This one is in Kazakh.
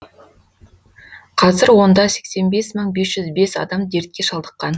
қазір онда сексен бес мың бес жүз бес адам дертке шалдыққан